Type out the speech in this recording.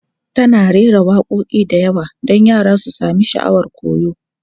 Tana rera waƙoƙi da yawa don yara su sami sha'awar koyo.